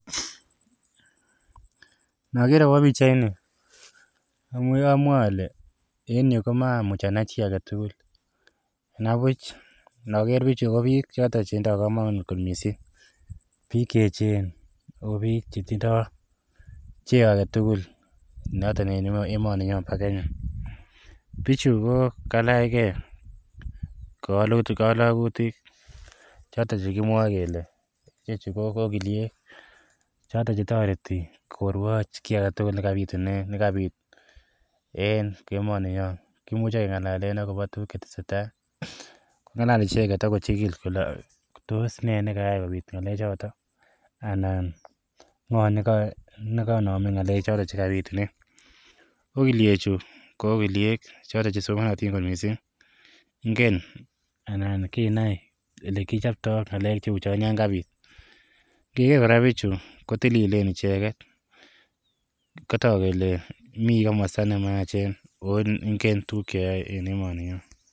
Nager akobo pichaini amwae ale en yu komamuch anai chi age tugul. Nabuch noger biichu ko biik choto chetindo kamanut kot mising. Biik che eechen ago biik che tindo cheo agetugul noton en emeninyo bo Kenya. Biichu ko kalaige kalagutik choto che kimwae kele choto che ogiliek. Choto che toreti koruoch kiy agetugul ne kapit en emoninyo. Kimuch kengalalen agobo tuguk cheteseta, kongalal icheget ak kochigil kole tos ne nekayaikopit ngalechoto anan ngo nekaname ngalechoto che kabitune. Ogilyechu ko ogiliek choto chesimanatin mising. Ingen anan kinai elekichopto ngalek che uchon yon kangapit. Ngeger kora biichu kotililen icheget. Kotok kele mi komosta ne mayachen oo ingen tuguk cheyoe en emoninyo.